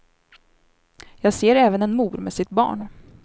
Jag ser även en mor med sitt barn.